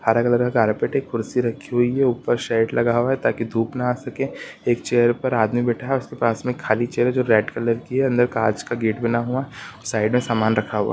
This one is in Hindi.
हरा कलर का कार्पेट है एक कुर्सी रखी हुई है ऊपर शेड लगा हुआ है ताकि धुप ना आ सके एक चेयर पर आदमी बैठा है उसके पास में खाली चेयर है जो रेड कलर की है अंदर कांच का गेट बना हुआ साइड में सामान रखा हुआ है।